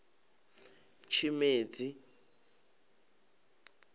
tshimedzi